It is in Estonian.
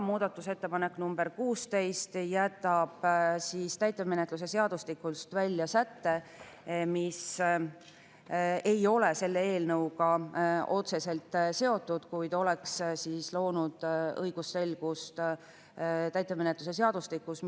Muudatusettepanek nr 16 jätab täitemenetluse seadustikust välja sätte, mis ei ole selle eelnõuga otseselt seotud, kuid oleks loonud õigusselgust täitemenetluse seadustikus.